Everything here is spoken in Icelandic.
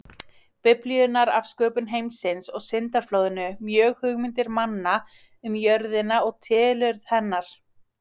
Biblíunnar af sköpun heimsins og syndaflóðinu mjög hugmyndir manna um jörðina og tilurð hennar.